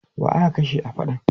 Wa aka kashe a faɗan?